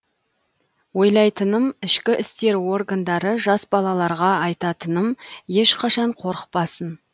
ойлайтыным ішкі істер органдары жас балаларға айтатыным ешқашан қорықпасын